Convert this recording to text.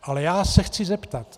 Ale já se chci zeptat.